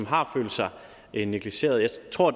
har følt sig negligeret tror